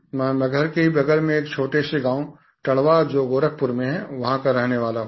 मैं मगहर के ही बगल में एक छोटे से गाँव टडवा जो गोरखपुर में है वहाँ का रहने वाला हूँ